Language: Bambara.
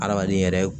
Adamaden yɛrɛ